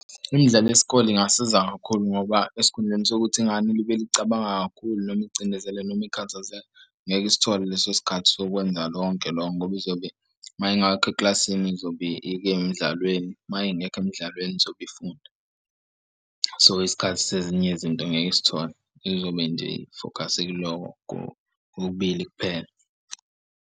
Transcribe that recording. Imidlalo yesikole ingasiza kakhulu ngoba esikhundleni sokuthi ingane ilibele icabanga kakhulu noma icindezela noma ikhathazela ngeke isithole leso sikhathi sokwenza lonke lokho ngoba izobe uma ingakho ekilasini izobe ikemdlalweni uma ingekho emdlalweni izobe ifunda. So isikhathi sezinye izinto ngeke isithole izobe nje ifokhase kulokho kokubili kuphela.